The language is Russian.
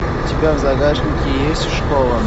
у тебя в загашнике есть школа